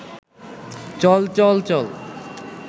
চল চল চল